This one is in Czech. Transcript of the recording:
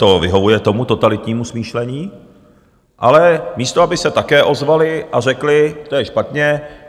To vyhovuje tomu totalitnímu smýšlení, ale místo aby se také ozvali a řekli, to je špatně.